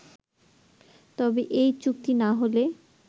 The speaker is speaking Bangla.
তবে এই চুক্তি না হলে